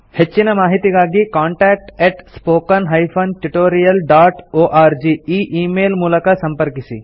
ಹೆಚ್ಚಿನ ಮಾಹಿತಿಗಾಗಿ contact spoken tutorialorg ಈ ಈ ಮೇಲ್ ಮೂಲಕ ಸಂಪರ್ಕಿಸಿ